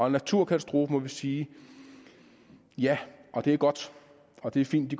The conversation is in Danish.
en naturkatastrofe må vi sige at ja det er godt og det er fint at